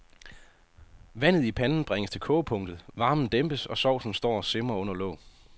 Vandet i panden bringes til kogepunktet, varmen dæmpes, og saucen står og simrer under låg.